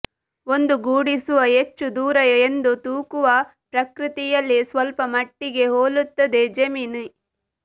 ಒಂದುಗೂಡಿಸುವ ಹೆಚ್ಚು ದೂರ ಎಂದು ತೂಕವು ಪ್ರಕೃತಿಯಲ್ಲಿ ಸ್ವಲ್ಪಮಟ್ಟಿಗೆ ಹೋಲುತ್ತದೆ ಜೆಮಿನಿ